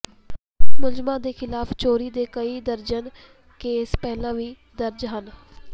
ਮੁਲਜ਼ਮਾਂ ਦੇ ਖ਼ਿਲਾਫ਼ ਚੋਰੀ ਦੇ ਕਈ ਦਰਜਨ ਕੇਸ ਪਹਿਲਾਂ ਵੀ ਦਰਜ ਹਨ